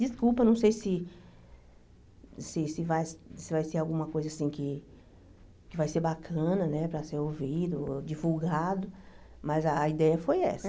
Desculpa, não sei se se se vai se vai ser alguma coisa assim que que vai ser bacana né para ser ouvido, divulgado, mas a ideia foi essa.